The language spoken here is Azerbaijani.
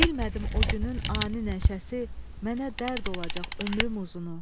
Bilmədim o günün ani nəşəsi mənə dərd olacaq ömrüm uzunu.